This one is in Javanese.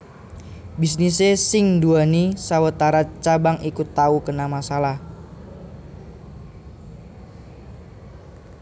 Bisnisé sing nduwèni sawetara cabang iki tau kena masalah